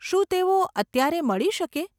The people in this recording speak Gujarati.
શું તેઓ અત્યારે મળી શકે?